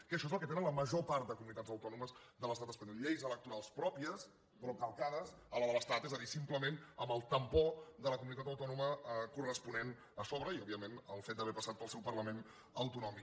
que això és el que tenen la major part de comunitats autònomes de l’estat espanyol lleis electorals pròpies però calcades a la de l’estat és a dir simplement amb el tampó de la comunitat autònoma corresponent a sobre i òbviament el fet d’haver passat pel seu parlament autonòmic